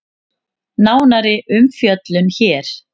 Nánari umfjöllun hér